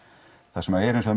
það sem er hins